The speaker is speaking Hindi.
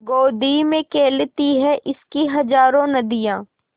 गोदी में खेलती हैं इसकी हज़ारों नदियाँ